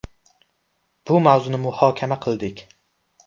Bu mavzuni muhokama qildik.